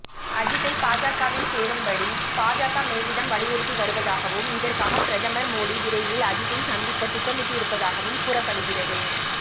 அஜித்தை பாஜகவில் சேரும்படி பாஜக மேலிடம் வலியுறுத்தி வருவதாகவும் இதற்காக பிரதமர் மோடி விரைவில் அஜித்தை சந்திக்க திட்டமிட்டுருப்பதாகவும் கூறப்படுகிறது